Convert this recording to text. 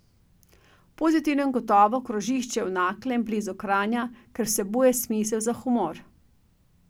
V pozitivnem gotovo krožišče v Naklem blizu Kranja, ker vsebuje smisel za humor.